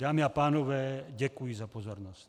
Dámy a pánové, děkuji za pozornost.